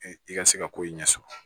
I ka se ka ko in ɲɛ sɔrɔ